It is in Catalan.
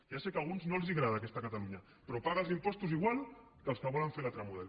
ja sé que a alguns no els agrada aquesta catalunya però paga els impostos igual que els que volen fer l’altre model